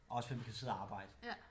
Også fordi man kan sidde at arbejde